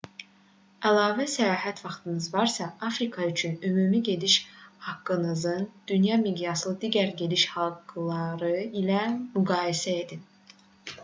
əlavə səyahət vaxtınız varsa afrika üçün ümumi gediş haqqınızın dünya miqyasındakı digər gediş haqqıları ilə müqayisə edin